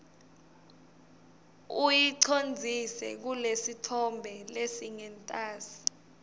uyicondzise kulesitfombe lesingentasi